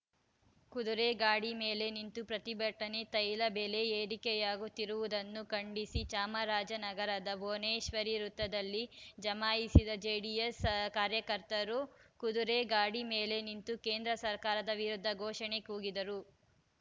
ಕುದುರೆ ಗಾಡಿ ಮೇಲೆ ನಿಂತು ಪ್ರತಿಭಟನೆ ತೈಲ ಬೆಲೆ ಏರಿಕೆಯಾಗುತ್ತಿರುವುದನ್ನು ಖಂಡಿಸಿ ಚಾಮರಾಜನಗರದ ಭುವನೇಶ್ವರಿ ವೃತ್ತದಲ್ಲಿ ಜಮಾಯಿಸಿದ ಜೆಡಿಎಸ್‌ ಕಾರ್ಯಕರ್ತರು ಕುದುರೆ ಗಾಡಿ ಮೇಲೆ ನಿಂತು ಕೇಂದ್ರ ಸರ್ಕಾರದ ವಿರುದ್ಧ ಘೋಷಣೆ ಕೂಗಿದರು